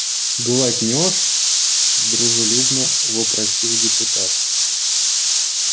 глотнёшь дружелюбно вопросил депутат